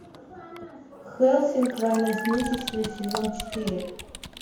хеллсинг война с нечистью сезон четыре